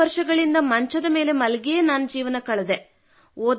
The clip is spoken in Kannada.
67 ವರ್ಷಗಳಿಂದ ಮಂಚದ ಮೇಲೆ ಮಲಗಿಯೇ ಜೀವನ ಕಳೆದೆ